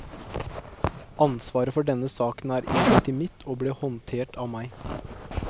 Ansvaret for denne saken er imidlertid mitt og ble håndtert av meg.